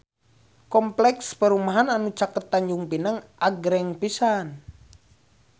Kompleks perumahan anu caket Tanjung Pinang agreng pisan